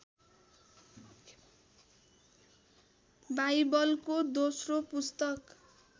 बाइबलको दोश्रो पुस्तक